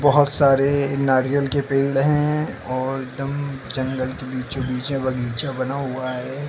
बोहोत सारे नारियल के पेड़ हैं और डम जंगल के बीचो बिचे बगीचा बना हुआ है।